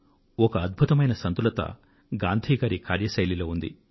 ఒకఅద్భుతమైన సంతులత గాంధి గారి కార్యశైలిలో ఉంది